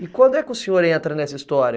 E quando é que o senhor entra nessa história?